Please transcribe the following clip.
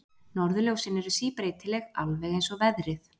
Norðurljósin eru síbreytileg, alveg eins og veðrið.